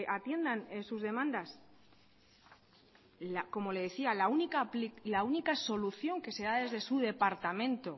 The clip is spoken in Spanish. atiendan sus demandas como le decía la única solución que se da desde su departamento